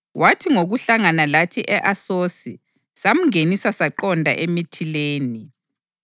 Wathi ngokuhlangana lathi e-Asosi samngenisa saqonda eMithilene.